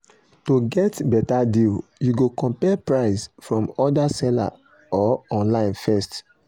to get better deal you go compare price from other seller or online first.